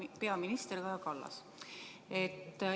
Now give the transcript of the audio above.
Hea peaminister Kaja Kallas!